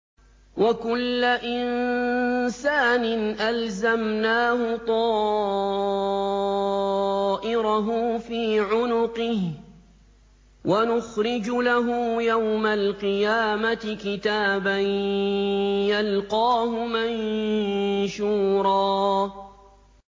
وَكُلَّ إِنسَانٍ أَلْزَمْنَاهُ طَائِرَهُ فِي عُنُقِهِ ۖ وَنُخْرِجُ لَهُ يَوْمَ الْقِيَامَةِ كِتَابًا يَلْقَاهُ مَنشُورًا